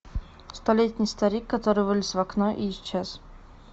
столетний старик который вылез в окно и исчез